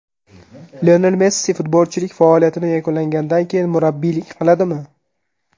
Lionel Messi futbolchilik faoliyatini yakunlangandan keyin murabbiylik qiladimi?